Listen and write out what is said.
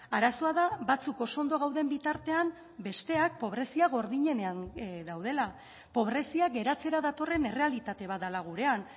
arazoa da batzuk oso ondo gauden bitartean besteak pobrezia gordinenean daudela pobrezia geratzera datorren errealitate bat dela gurean